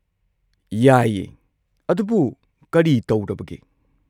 ꯌꯥꯏꯌꯦ, ꯑꯗꯨꯕꯨ ꯀꯔꯤ ꯇꯧꯔꯕꯒꯦ?